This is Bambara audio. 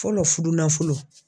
Fɔlɔ fudunanfolo